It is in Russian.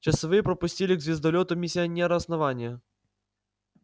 часовые пропустили к звездолёту миссионера основания